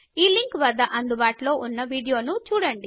link వద్ద అందుబాటులో ఉన్న వీడియోను చూడండి